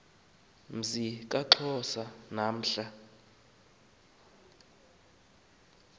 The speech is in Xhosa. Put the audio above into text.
mzi kaxhosa namhla